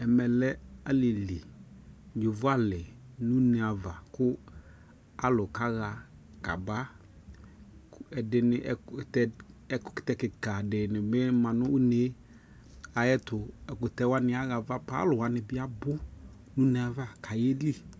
Ɛmɛ lɛ aliliYovo ali nu ne ava ku alu ka ɣa ka baƐdini ɛkutɛ kika dini bi ma nu une ayɛtu Ɛkutɛ wani aɣa va paa Alu wani bi abu nu une vaKa yɛ bie